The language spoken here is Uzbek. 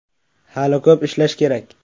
Hali ko‘p ishlash kerak.